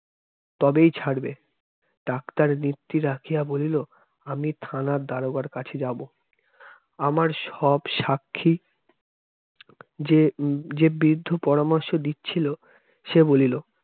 তবেই ছাড়বে। doctor নেত্রি রাখিয়া বলল আমি থানা দারোগার কাছে যাব আমার সব সাক্ষী যে বৃদ্ধ পরামর্শ দিচ্ছিল সে বলিল